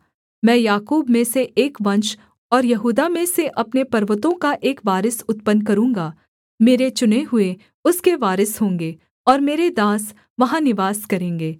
मैं याकूब में से एक वंश और यहूदा में से अपने पर्वतों का एक वारिस उत्पन्न करूँगा मेरे चुने हुए उसके वारिस होंगे और मेरे दास वहाँ निवास करेंगे